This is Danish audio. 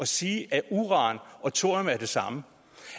sige at uran og thorium er det samme